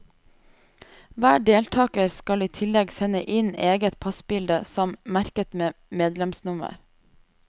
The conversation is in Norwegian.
Hver deltaker skal i tillegg sende inn eget passbilde som, merket med medlemsnummer.